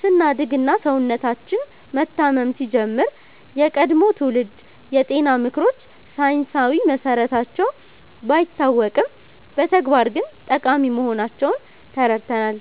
ስናድግ እና ሰውነታችን መታመም ሲጀምር፣ የቀድሞ ትውልድ የጤና ምክሮች ሳይንሳዊ መሰረታቸው ባይታወቅም በተግባር ግን ጠቃሚ መሆናቸውን ተረድተናል።